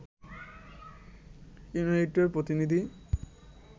ইনুইটদের প্রতিনিধি